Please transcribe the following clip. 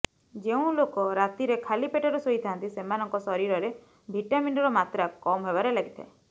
ଯେଉଁ ଲୋକ ରାତିରେ ଖାଲି ପେଟରେ ଶୋଇଥାଆନ୍ତି ସେମାନଙ୍କ ଶରୀରରେ ଭିଟାମିନ୍ର ମାତ୍ରା କମ୍ ହେବାରେ ଲାଗିଥାଏ